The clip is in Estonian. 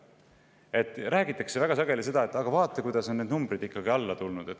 Väga sageli räägitakse sellest, et vaadake, kuidas need numbrid on alla tulnud.